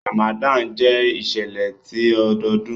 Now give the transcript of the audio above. Ramadan jẹ iṣẹlẹ ti ọdọọdun.